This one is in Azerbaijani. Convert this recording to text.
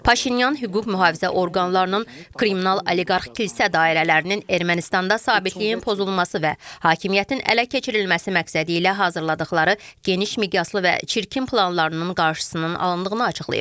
Paşinyan hüquq mühafizə orqanlarının, kriminal oliqarx kilsə dairələrinin Ermənistanda sabitliyin pozulması və hakimiyyətin ələ keçirilməsi məqsədi ilə hazırladıqları geniş miqyaslı və çirkin planlarının qarşısının alındığını açıqlayıb.